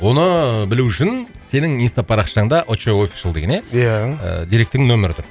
оны білу үшін сенің инстапарақшаңда очоу офишал деген иә иә директордың нөмері тұр